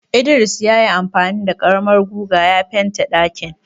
Idris ya yi amfani da karamar goga ya fente ɗakin.